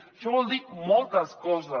això vol dir moltes coses